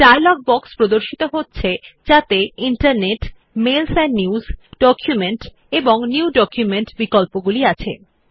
একটি dialog box প্রর্দশিত হচ্ছে যাতে internetমেইলস এন্ড newsডকুমেন্ট এবং নিউ ডকুমেন্ট বিকল্পগুলি আছে